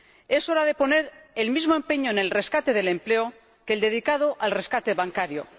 Es hora de poner el mismo empeño en el rescate del empleo que el dedicado al rescate bancario.